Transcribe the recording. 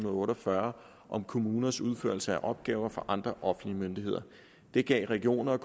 og otte og fyrre om kommuners udførelse af opgaver for andre offentlige myndigheder det gav regioner